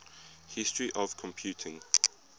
history of computing